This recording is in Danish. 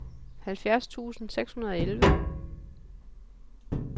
halvfjerds tusind seks hundrede og elleve